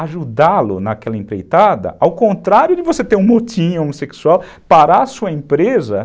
ajudá-lo naquela empreitada, ao contrário de você ter um motim homossexual, parar a sua empresa